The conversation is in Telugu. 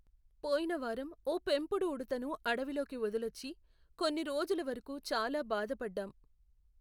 పోయిన వారం ఓ పెంపుడు ఉడుతను అడవిలోకి వదిలొచ్చి, కొన్ని రోజుల వరకు చాలా బాధపడ్డాం.